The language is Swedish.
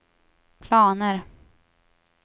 planer